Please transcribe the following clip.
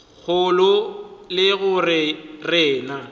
kgolo ke go re na